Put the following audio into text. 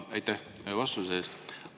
Aitäh vastuse eest!